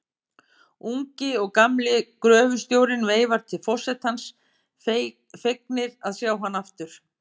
Ungi og gamli gröfustjórinn veifa til forsetans, fegnir að sjá hann aftur.